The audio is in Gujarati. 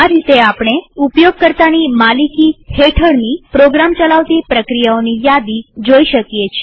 આ રીતે આપણે ઉપયોગકર્તાની માલિકી હેઠળની પ્રોગ્રામ ચલાવતી પ્રક્રિયાઓની યાદી જોઈ શકીએ છીએ